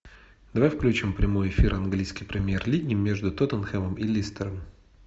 давай включим прямой эфир английской премьер лиги между тоттенхэмом и лестером